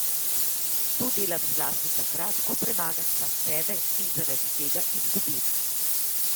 To delam zlasti takrat, ko premagam sam sebe in zaradi tega izgubim.